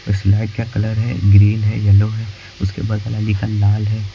Slide का colour है green है एलो है उसके बाद लाल है।